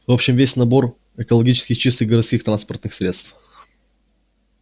в общем весь набор экологически чистых городских транспортных средств